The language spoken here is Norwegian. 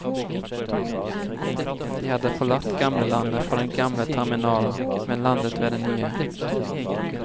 De hadde forlatt gamlelandet fra den gamle terminalen, men landet ved den nye.